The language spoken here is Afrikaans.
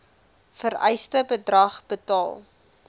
vereiste bedrag betaal